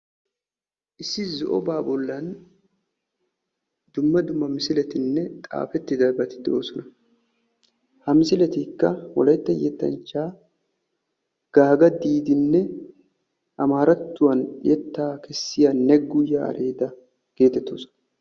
Issi zo'oba bollan dumma dumma misiletinne xaafetidabati doosona. ha misiletikka wolaytta yettanchcha gaaga diidinne amarattuwan yetta kessiya negu yareda getettooosona